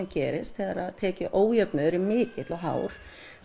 gerist þegar tekjuójöfnuður er mikill og hár